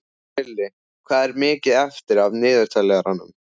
Krilli, hvað er mikið eftir af niðurteljaranum?